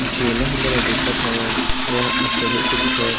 जेला हमन ह देखत हवन वोहा अबबड़े सुघ्घर --